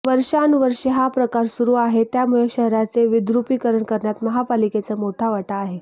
वर्षानुवर्षे हा प्रकार सुरु आहे त्यामुळे शहराचे विद्रुपीकरण करण्यात महापालिकेचा मोठा वाटा आहे